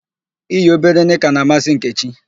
I yi obere nịka na-amasị Nkechi.